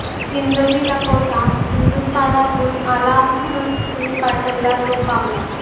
हिंदवी लाखोटा हिंदुस्थानातूंन आला ह्मणून तुह्मीं पाठविला तो पावला